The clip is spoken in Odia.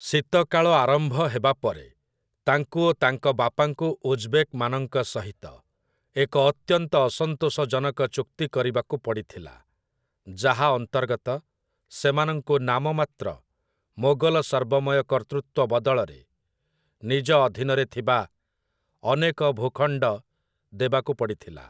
ଶୀତକାଳ ଆରମ୍ଭ ହେବା ପରେ ତାଙ୍କୁ ଓ ତାଙ୍କ ବାପାଙ୍କୁ ଉଜବେକ୍‌ମାନଙ୍କ ସହିତ ଏକ ଅତ୍ୟନ୍ତ ଅସନ୍ତୋଷଜନକ ଚୁକ୍ତି କରିବାକୁ ପଡ଼ିଥିଲା, ଯାହା ଅନ୍ତର୍ଗତ ସେମାନଙ୍କୁ ନାମମାତ୍ର ମୋଗଲ ସର୍ବମୟ କର୍ତ୍ତୃତ୍ୱ ବଦଳରେ ନିଜ ଅଧୀନରେ ଥିବା ଅନେକ ଭୂଖଣ୍ଡ ଦେବାକୁ ପଡ଼ିଥିଲା ।